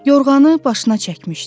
Yorğanı başına çəkmişdi.